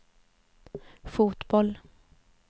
fotboll